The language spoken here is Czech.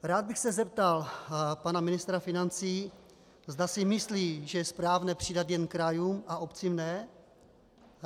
Rád bych se zeptal pana ministra financí, zda si myslí, že je správné přidat jen krajům a obcím ne.